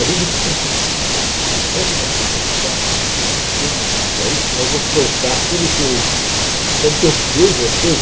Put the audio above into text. Às vezes eu fico pensando assim, puxa, a hora que eu me aposentar, acho que eu vou infernizar para aí, assim, eu vou soltar tudo que eu... Sabe que eu vejo as coisas?